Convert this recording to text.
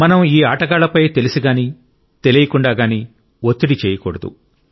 మనం ఈ ఆటగాళ్ళపై తెలిసిగానీ తెలియకుండా గానీ ఒత్తిడి చేయకూడదు